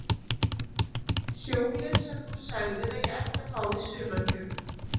Hjólið sem þú sagðir að ég ætti að fá í sumargjöf.